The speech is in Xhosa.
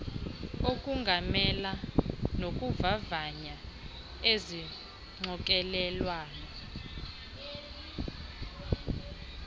ukongamela nokuvavanya izixokelelwano